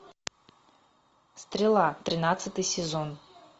стрела тринадцатый сезон